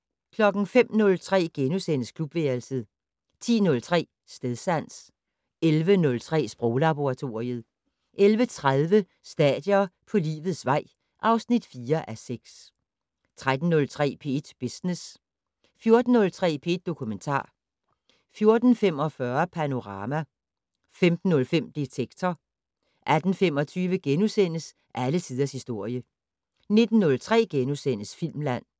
05:03: Klubværelset * 10:03: Stedsans 11:03: Sproglaboratoriet 11:30: Stadier på livets vej (4:6) 13:03: P1 Business 14:03: P1 Dokumentar 14:45: Panorama 15:03: Detektor 18:25: Alle tiders historie * 19:03: Filmland *